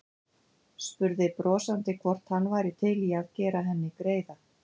Spurði brosandi hvort hann væri til í að gera henni greiða.